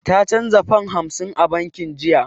Ta canza fam hamsin a banki jiya.